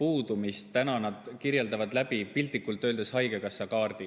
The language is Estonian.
puudumisel on kõige olulisem, kirjeldanud piltlikult öeldes läbi haigekassakaardi.